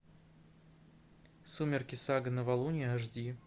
сумерки сага новолуние аш ди